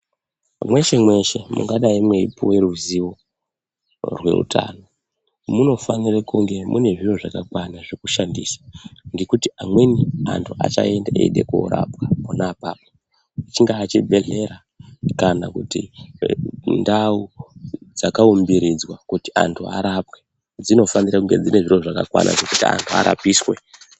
Mweshe mweshe mungadai mweipuwe ruzivo reutano munofanire kunge mune zviro zvakakwana zvekushandisa ngekuti amweni antu achaenda eida kurapwa pona apapa, chingava chibhedhlera kana kuti ndau dzakaumbiridzwa kuti antu arapwe dzinofanirwa kunge dzine zviro zvakakwana kuti antu arapiswe.